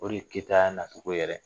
O de ye Keyitaya yɛrɛ nacogo ye